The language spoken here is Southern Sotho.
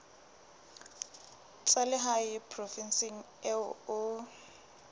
tsa lehae provinseng eo o